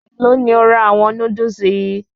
Èlò ni o ra àwọn Núdúsì yìí?